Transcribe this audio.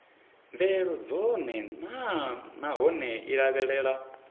mvelelo dzone naanahone i lavhelela